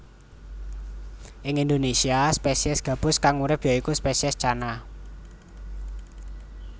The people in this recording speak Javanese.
Ing Indonésia spesies gabus kang urip ya iku spesies Channa